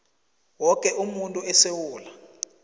woke umuntu esewula